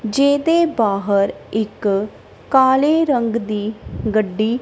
ਜਿਹਦੇ ਬਾਹਰ ਇੱਕ ਕਾਲੇ ਰੰਗ ਦੀ ਗੱਡੀ।